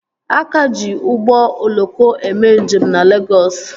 A ka ji ụgbọ oloko eme njem na Legọs